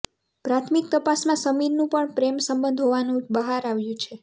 પ્રાથમિક તપાસમાં સમીરનું પણ પ્રેમ સંબંધ હોવાનું બહાર આવ્યું છે